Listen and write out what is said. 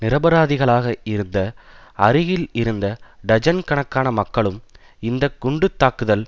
நிரபராதிகளாக இருந்த அருகில் இருந்த டஜன் கணக்கான மக்களும் இந்த குண்டு தாக்குதல்